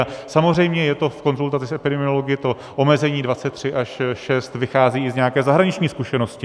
A samozřejmě je to v konzultaci s epidemiology, to omezení 23 až 6 vychází i z nějaké zahraniční zkušenosti.